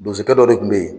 Bosokɛ dɔ de tun bɛ yen